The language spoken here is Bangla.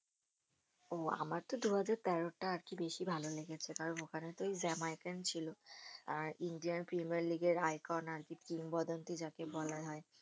ও আমারতো দুহাজার তেরোরটা আরকি বেশি ভালো লেগেছে কারণ ওখানে তো ওই জ্যামাইকান ছিল আর ইন্ডিয়ার প্রিমিয়ার লীগের icon আরকি কিংবদন্তি যাকে বলা হয়